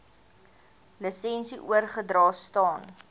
lisensie oorgedra staan